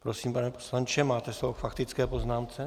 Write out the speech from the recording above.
Prosím, pane poslanče, máte slovo k faktické poznámce.